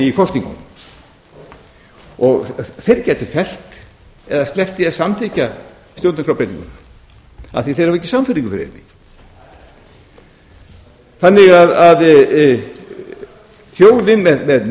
í kosningum þeir gætu fellt eða sleppt því að samþykkja stjórnarskrárbreytinguna af því að þeir hafa ekki sannfæringu fyrir henni orðin með